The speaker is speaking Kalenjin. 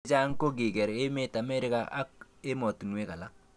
Chechang ko kaker emet America ak emotunwek alak.